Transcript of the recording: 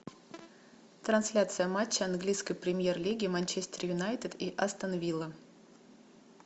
трансляция матча английской премьер лиги манчестер юнайтед и астон вилла